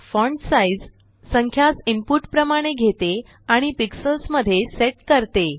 font sizसंख्यास input प्रमाणे घेते आणि पिक्सल्ज़ मध्ये सेट करते